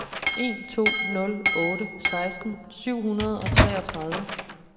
en to nul otte seksten syv hundrede og treogtredive